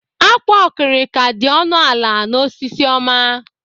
Ákwà okirika dị ọnụ ala n'Osisiọma.